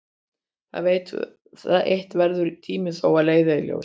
Það eitt verður tíminn þó að leiða í ljós.